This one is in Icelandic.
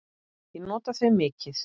Ég nota þau mikið.